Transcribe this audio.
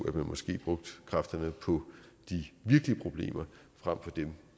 at man måske brugte kræfterne på de virkelige problemer frem for dem